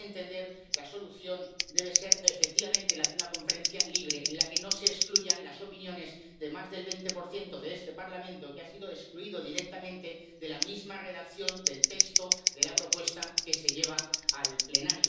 A mi entender, la solución debe ser, efectivamente, la de una conferencia libre en la que no se excluyan las opiniones de más del 20 de este Parlamento, que ha sido excluido directamente de la misma redacción del texto de la propuesta que se lleva al Pleno.